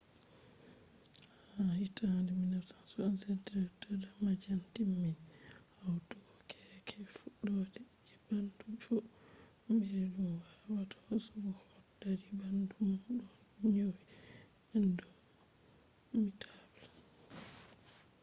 ha hitande 1977 dr. damadian timmini hautugo keeke fuddode je bandu fu” mri dum wawata hosugo hot dadi bandu dum o nyoni indomitable